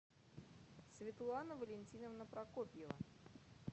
светлана валентиновна прокопьева